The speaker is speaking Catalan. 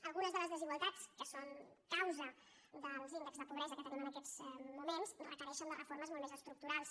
algunes de les desigualtats que són causa dels índexs de pobresa que tenim en aquests moments requereixen reformes molt més estructurals